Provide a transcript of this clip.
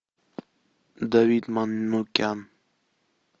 давид манукян